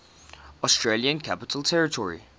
australian capital territory